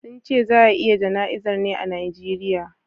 sunce za a yi jana'zar ne a Nigeria